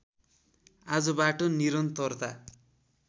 आजबाट निरन्तरता